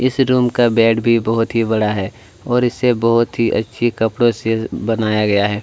इस रूम का बैड भी बहुत ही बड़ा है और इसे बहुत ही अच्छे कपड़ों से बनाया गया है।